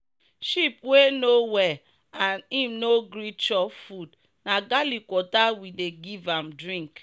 sheep wey no well and im no gree chop food na garlic water we we dey give am drink.